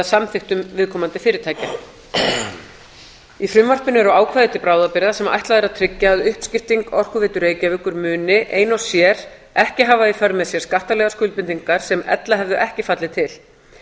samþykktum viðkomandi fyrirtækja í frumvarpinu eru ákvæði mæli bráðabirgða sem ætlað er að tryggja að uppskipting orkuveitu reykjavíkur muni ein og sér ekki hafa í för með sér skattalegar skuldbindingar sem ella hefðu ekki fallið til